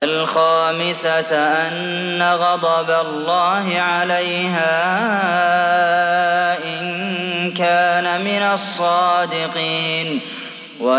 وَالْخَامِسَةَ أَنَّ غَضَبَ اللَّهِ عَلَيْهَا إِن كَانَ مِنَ الصَّادِقِينَ